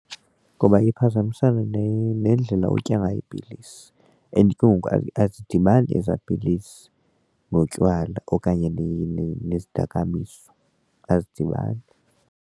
Ngoba iye iphazamisane nendlela otya ngayo iipilisi and ke ngoku and azidibani eza pilisi notywala okanye nezimdakamiso azidibani.